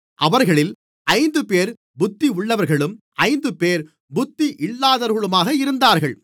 அவர்களில் ஐந்துபேர் புத்தியுள்ளவர்களும் ஐந்துபேர் புத்தியில்லாதவர்களுமாக இருந்தார்கள்